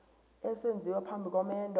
esenziwa phambi komendo